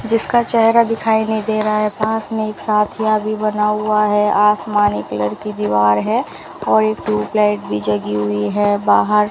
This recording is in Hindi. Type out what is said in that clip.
जिसका चेहरा दिखाई नहीं दे रहा है पास में एक साथिया भी बना हुआ है आसमानी कलर की दीवार है और एक ट्यूबलाइट भी जगी हुई है बाहर --